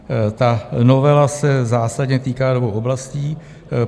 Ta novela se zásadně týká dvou oblastí.